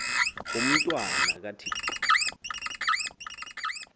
umntwa na kathixo